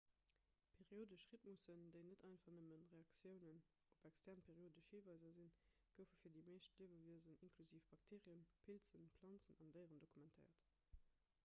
periodesch rhytmussen déi net einfach nëmme reaktiounen op extern periodesch hiweiser sinn goufe fir déi meescht liewewiesen inklusiv bakteerien pilzen planzen an déieren dokumentéiert